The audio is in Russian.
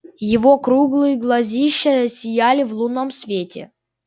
его круглые глазища сияли в лунном свете